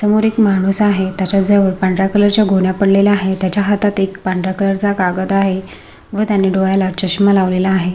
समोर एक माणूस आहे तेच्या जवळ पांढरा कलर च्या गोण्या पडलेल्या आहे तेच्या हातात एक पांढरा कलर चा कागद आहे व त्याने डोळ्याला चश्मा लावलेला आहे.